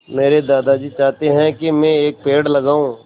मेरे दादाजी चाहते हैँ की मै एक पेड़ लगाऊ